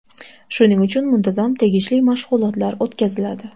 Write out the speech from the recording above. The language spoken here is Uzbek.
Shuning uchun muntazam tegishli mashg‘ulotlar o‘tkaziladi.